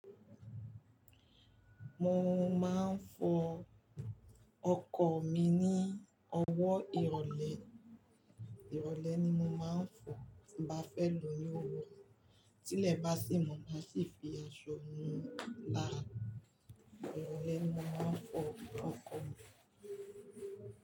Mo máa ń fọ ọkọ̀ mi ní ọwọ́ ìrọ̀lẹ́, ìrọ̀lẹ́ ni mo máa ń fọ tí bá fẹ́ lò ó ní òwúrọ̀ tí ilẹ̀ bá sì mọ́, màá sì fi aṣọ mú un lára. Ìrọ̀lẹ́ ni mo máa ń fọ ọkọ̀ mi.